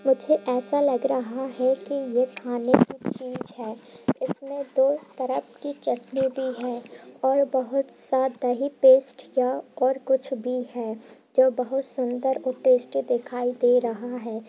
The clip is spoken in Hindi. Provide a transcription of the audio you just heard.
मुझे ऐसा लग रहा है कि ये खाने की चीज है| इसमें दो तरह की चटनी भी है| और बहोत सा दही पेस्ट या और कुछ भी है जो बहुत सुंदर और टेस्टी दिखाई दे रहा है|